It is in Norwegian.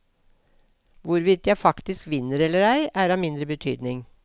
Hvorvidt jeg faktisk vinner eller ei, er av mindre betydning.